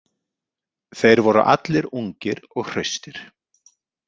Þeir voru allir ungir og hraustir.